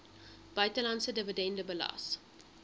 buitelandse dividende belas